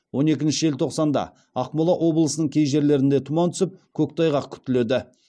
он екінші желтоқсанда ақмола облысының кей жерлерінде тұман түсіп көктайғақ күтіледі